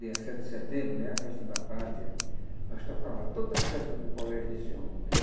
dia sete de setembro né, a festa da pátria, nós tocava toda a festa do colégio desse homem.